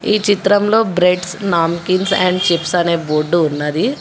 ఈ చిత్రంలో breads namkeen and chips అనే బోర్డు ఉన్నది.